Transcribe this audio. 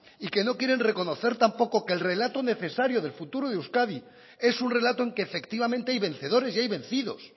y que no quieren reconocer tampoco que el relato necesario del futuro de euskadi es un relato en que efectivamente hay vencedores y hay vencidos